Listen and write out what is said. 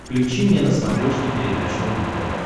включи мне на смотрешке передачу рубль тв